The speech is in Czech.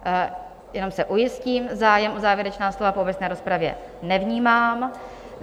Jenom se ujistím, zájem o závěrečná slova po obecné rozpravě nevnímám.